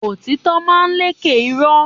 Òtítò ma ń lẹkẹ ìró